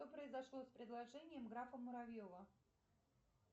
что произошло с предложением графа муравьева